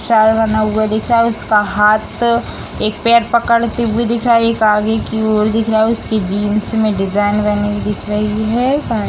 star बना हुआ दिख रहा है उसका हाथ एक पैर पकड़ती हुए दिख रहा है एक आगे की ओर दिख रहा है उसकी जीन्स में डिज़ाइन बनी हुए दिख रही है पा --